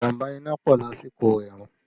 Ìjàmbá iná ń pọ̀ lásìkò ẹ̀rùn